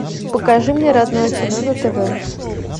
покажи мне родное кино на тв